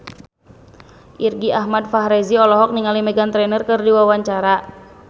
Irgi Ahmad Fahrezi olohok ningali Meghan Trainor keur diwawancara